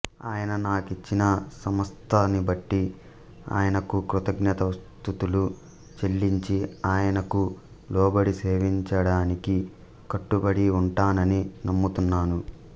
ఆయన నా కిచ్చిన సమస్తాన్నిబట్టి ఆయనకు కృతజ్ఞతా స్తుతులు చెల్లించి ఆయనకు లోబడి సేవించడానికి కట్టుబడి ఉంటానని నమ్ముతున్నాను